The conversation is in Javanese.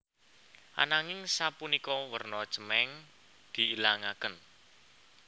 Ananging sapunika warna cemeng diilangaken